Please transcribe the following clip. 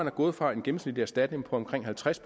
er gået fra en gennemsnitlig erstatning på omkring halvtreds